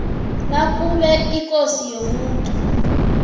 nakube ikosi yomuntu